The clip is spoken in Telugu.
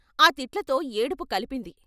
ఆ తిట్లతో ఏడుపు కలిపింది.